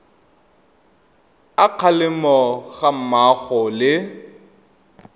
a kgalemo ga mmogo le